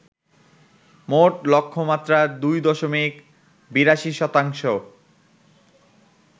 মোট লক্ষ্যমাত্রার ২ দশমিক ৮২ শতাংশ